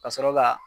Ka sɔrɔ ka